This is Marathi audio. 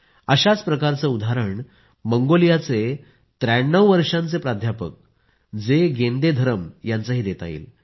अशाच प्रकारचं उदाहरण मंगोलियाचे 93 वर्षांचे प्राध्यापक जे गेंदेधरम यांचंही देता येईल